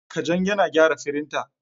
Kajang yana gyara firinta.